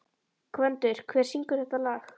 Gvöndur, hver syngur þetta lag?